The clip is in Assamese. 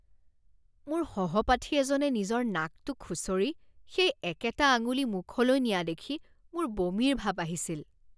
মোৰ সহপাঠী এজনে নিজৰ নাকটো খুঁচৰি সেই একেটা আঙুলি মুখলৈ নিয়া দেখি মোৰ বমিৰ ভাৱ আহিছিল